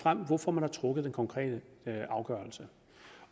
frem hvorfor man har truffet den konkrete afgørelse